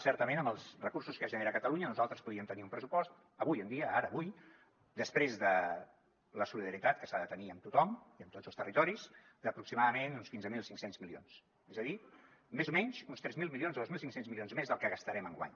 certament amb els recursos que es generen a catalunya nosaltres podríem tenir un pressupost avui en dia ara avui després de la solidaritat que s’ha de tenir amb tothom i amb tots els territoris d’aproximadament uns quinze mil cinc cents milions és a dir més o menys uns tres mil milions o dos mil cinc cents milions més del que gastarem enguany